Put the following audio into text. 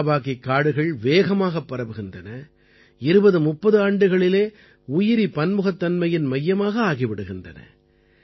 மியாவாகிக் காடுகள் வேகமாகப் பரவுகின்றன 2030 ஆண்டுகளிலே உயிரி பன்முகத்தன்மையின் மையமாக ஆகிவிடுகின்றன